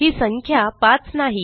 ही संख्या 5 नाही